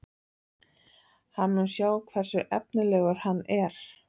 Hann mun sjá hversu efnilegur hann er.